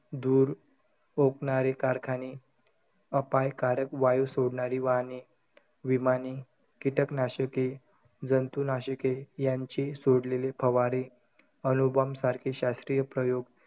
धुर ओकणारे कारखाने, अपायकारक वायू सोडणारी वाहने, विमाने, कीटक नाशके, जंतूनाशके यांचे सोडलेले फवारे, अणु bomb सारखे शास्त्रीय प्रयोग,